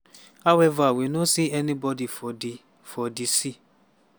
however we no see any bodi for di for di sea.”